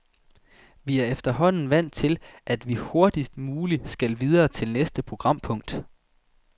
Vi er efterhånden vant til, at vi hurtigst muligt skal videre til næste programpunkt.